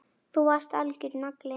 Þú varst algjör nagli.